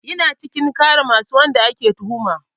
Yana cikin masu ƙare wanda ake tuhuma